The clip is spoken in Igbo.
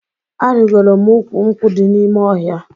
Arigoro m ukwu nkwụ dị n'ime ọhịa